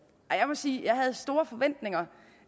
jeg må sige at jeg havde store forventninger